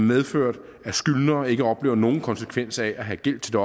medført at skyldnere ikke oplever nogen konsekvens af at have gæld til